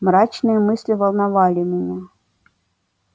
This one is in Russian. мрачные мысли волновали меня